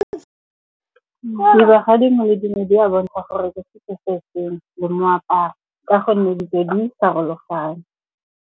Dibaga dingwe le dingwe di a bontsha gore di le moaparo ka gonne ditso di farologane.